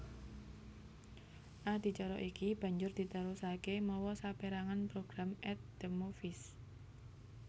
Adicara iki banjur diterusaké mawa sapérangan program At the Movies